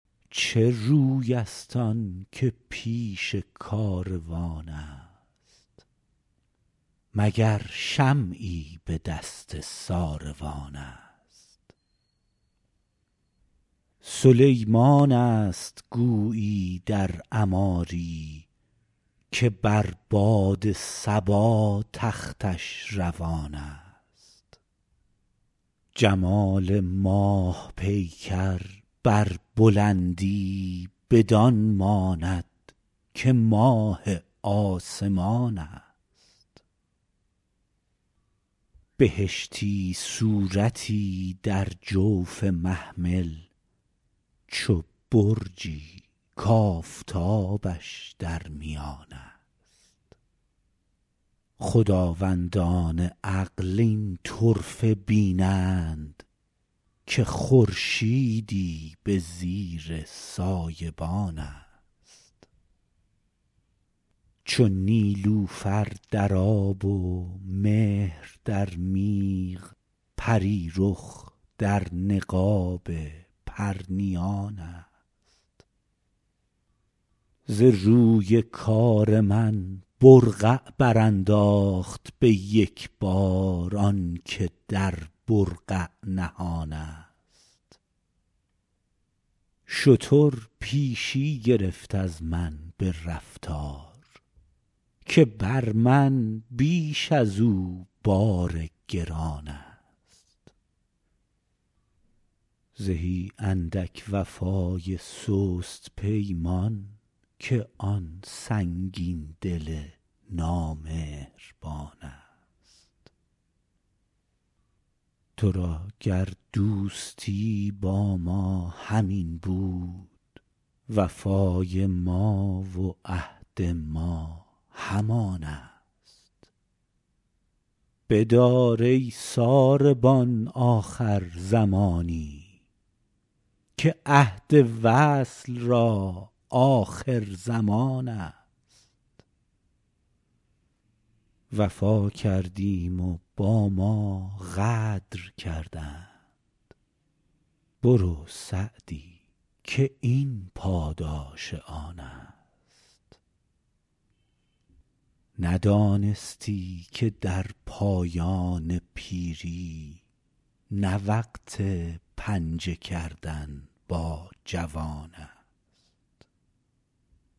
چه روی است آن که پیش کاروان است مگر شمعی به دست ساروان است سلیمان است گویی در عماری که بر باد صبا تختش روان است جمال ماه پیکر بر بلندی بدان ماند که ماه آسمان است بهشتی صورتی در جوف محمل چو برجی کآفتابش در میان است خداوندان عقل این طرفه بینند که خورشیدی به زیر سایبان است چو نیلوفر در آب و مهر در میغ پری رخ در نقاب پرنیان است ز روی کار من برقع برانداخت به یک بار آن که در برقع نهان است شتر پیشی گرفت از من به رفتار که بر من بیش از او بار گران است زهی اندک وفای سست پیمان که آن سنگین دل نامهربان است تو را گر دوستی با ما همین بود وفای ما و عهد ما همان است بدار ای ساربان آخر زمانی که عهد وصل را آخرزمان است وفا کردیم و با ما غدر کردند برو سعدی که این پاداش آن است ندانستی که در پایان پیری نه وقت پنجه کردن با جوان است